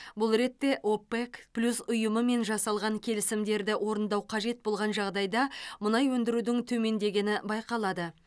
бұл ретте опек плюс ұйымымен жасалған келісімдерді орындау қажет болған жағдайда мұнай өндірудің төмендегені байқалады